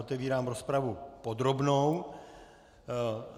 Otevírám rozpravu podrobnou.